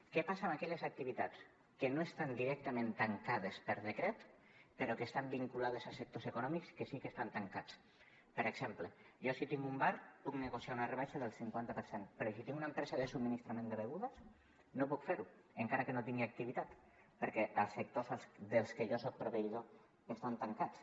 què passa amb aquelles activitats que no estan directament tancades per decret però que estan vinculades a sectors econòmics que sí que estan tancats per exemple jo si tinc un bar puc negociar una rebaixa del cinquanta per cent però si tinc una empresa de subministrament de begudes no puc fer ho encara que no tingui activitat perquè els sectors dels que jo soc proveïdor estan tancats